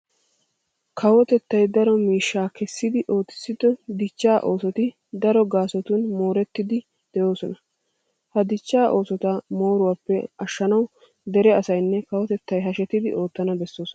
Kawotettay daro miishshaa kessidi ootissido dichchaa oosoti daro gaasotun moorettiiddi de'oosona. Ha dichchaa oosota mooruwappe ashshanawu dere asaynne kawotettay hashetidi oottana bessoosona.